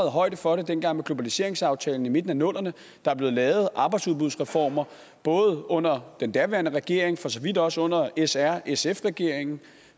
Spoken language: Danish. højde for det dengang med globaliseringsaftalen i midten af nullerne der er blevet lavet arbejdsudbudsreformer under den daværende regering og for så vidt også under srsf regeringen